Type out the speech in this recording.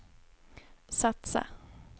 satsa